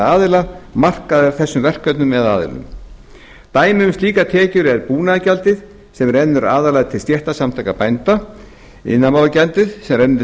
aðila markaðar þessum verkefnum eða aðilum dæmi um slíkar tekjur eru búnaðargjaldið sem rennur aðallega til stéttarsamtaka bænda iðnaðarmálagjald sem rennur til